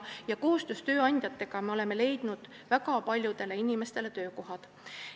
Koostöös tööandjatega me oleme leidnud väga paljudele inimestele töökohad.